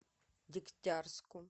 дегтярску